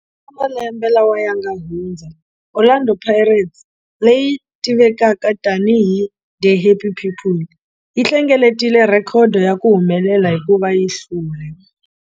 Eka malembe lawa ya nga hundza, Orlando Pirates, leyi tivekaka tanihi 'The Happy People', yi hlengeletile rhekhodo ya ku humelela hikuva yi hlule